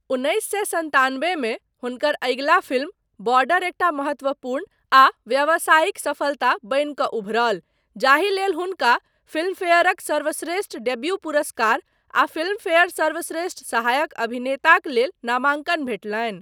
उन्नैस सए सन्तानबे मे हुनकर अगिला फिल्म 'बॉर्डर' एकटा महत्वपूर्ण आ व्यावसायिक सफलता बनि कऽ उभरल, जाहि लेल हुनका फिल्मफेयरक सर्वश्रेष्ठ डेब्यू पुरस्कार आ फिल्मफेयर सर्वश्रेष्ठ सहायक अभिनेताक लेल नामांकन भेटलनि।